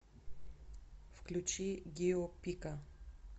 включи гио пика